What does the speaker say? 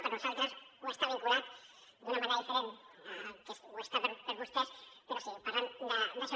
per nosaltres està vinculat d’una manera diferent que ho està per a vostès però sí parlen d’això